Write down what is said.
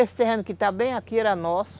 Esse terreno que está bem aqui era nosso.